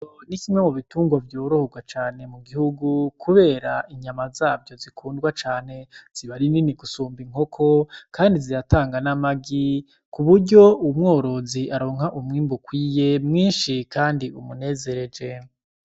Ni kimwe mu bitungo vyorohorwa cane mu gihugu, kubera inyama zavyo zikundwa cane zibari nini gusumba inkoko, kandi ziratanga n'amagi ku buryo umworozi aronka umwimbu ukwiye mwinshi, kandi umunezereje.